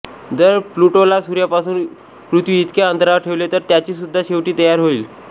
जर प्लूटोला सूर्यापासून पृथ्वीइतक्या अंतरावर ठेवले तर त्याचीसुद्धा शेवटी तयार होईल